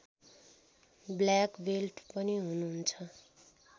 black belt पनि हुनुहुन्छ